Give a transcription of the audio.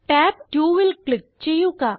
tab 2ൽ click ചെയ്യുക